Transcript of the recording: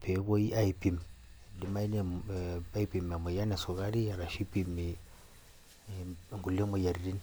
pepuoi aipim emoyian esukuri ashu ipimi nkulie moyiaritin.